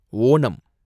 Onam